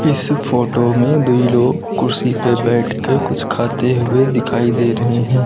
इस फोटो में दोइ लोग कुर्सी पे बैठ के कुछ खाते हुए दिखाई दे रहे हैं।